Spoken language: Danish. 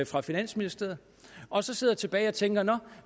fra finansministeriet og så sidder jeg tilbage og tænker nå